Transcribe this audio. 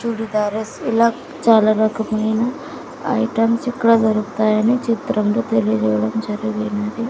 చుడిదారిస్ ఇలా చాలా రకమైన ఐటమ్స్ ఇక్కడ దొరుకుతాయని చిత్రం లో తెలియజేయడం జరిగినది.